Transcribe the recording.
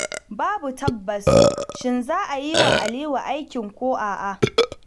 Babu tabbas shin za ayi wa Aliyu aikin ko a'a.